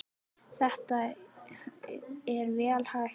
Þetta er vel hægt, sagði Kjartan.